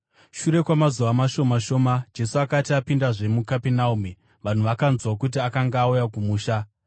Shure kwamazuva mashoma shoma, Jesu akati apindazve muKapenaume, vanhu vakanzwa kuti akanga auya kumusha.